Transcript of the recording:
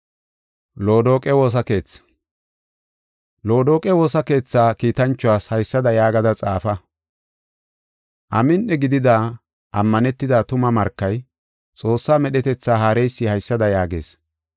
“Loodoqe woosa keetha kiitanchuwas haysada yaagada xaafa. Amin7i gidida ammanetida tuma markay, Xoossaa medhetetha haareysi haysada yaagees: